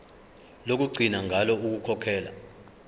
lokugcina ngalo ukukhokhela